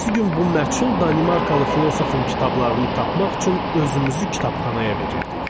Ertəsi gün bu məchul Danimarkalı filosofun kitablarını tapmaq üçün özümüzü kitabxanaya verirdik.